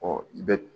i bɛ